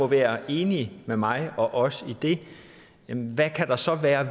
være enig med mig og os i det hvad kan der så være af